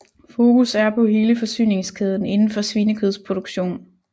Fokus er på hele forsyningskæden indenfor svinekødsproduktion